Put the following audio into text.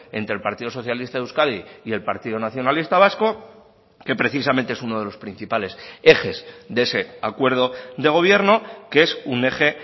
entre el partido socialista de euskadi y el partido nacionalista vasco que precisamente es uno de los principales ejes de ese acuerdo de gobierno que es un eje